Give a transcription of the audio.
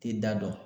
Tɛ da dɔn